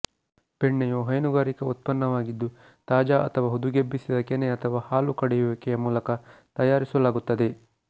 ಬೆಣ್ಣೆ ಯು ಹೈನುಗಾರಿಕೆ ಉತ್ಪನ್ನವಾಗಿದ್ದು ತಾಜಾ ಅಥವಾ ಹುದುಗೆಬ್ಬಿಸಿದ ಕೆನೆ ಅಥವಾ ಹಾಲು ಕಡೆಯುವಿಕೆ ಮೂಲಕ ತಯಾರಿಸಲಾಗುತ್ತದೆ